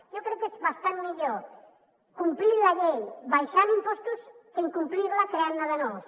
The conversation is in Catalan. jo crec que és bastant millor complir la llei abaixant impostos que incomplir·la creant·ne de nous